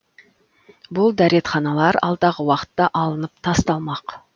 бұл дәретханалар алдағы уақытта алынып тасталмақ